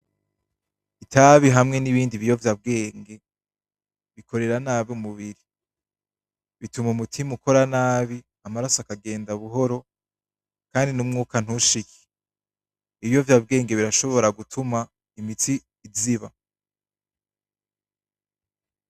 Itabi hamwe n'ibindi biyovya bwenge, bikorera nabi umubiri bituma umutima ukora nabi, amaraso akagenda buhoro, kandi n'umwuka ntushike. Ibiyovya bwenge birashobora gutuma imitsi iziba.